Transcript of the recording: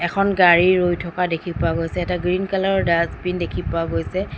এখন গাড়ী ৰৈ থকা দেখি পোৱা গৈছে এটা গ্ৰীণ কালাৰ ডাস্তবিন দেখি পোৱা গৈছে।